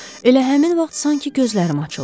Elə həmin vaxt sanki gözlərim açıldı.